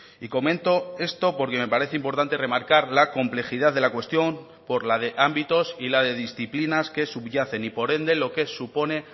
y comento esto porque me parece importante remarcar la complejidad de la cuestión por la de ámbitos y la de disciplinas que subyacen y por ende lo que supone